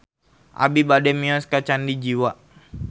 Abi bade mios ka Candi Jiwa